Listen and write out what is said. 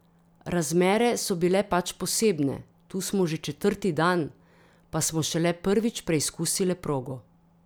Razmere so bile pač posebne, tu smo že četrti dan, pa smo šele prvič preizkusile progo.